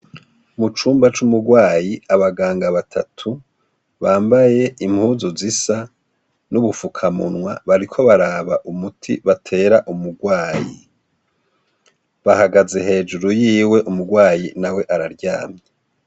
mu cumba c'umurwayi abaganga batatu bambaye impuzu zisa n'ubufukamunwa bariko baraba umuti batera umurwayi bahagaze hejuru yiwe umurwayi na we araryamye